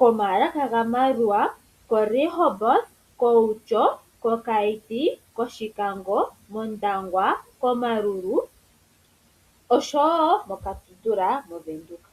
komaalaka gaMaerua, koRehoboth, kOutjo, koKaiti, kOshikango, kOndangwa, koMaruru, oshowo koKatutura movenduka.